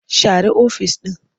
Share ofis ɗin.